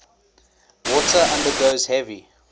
water undergoes heavy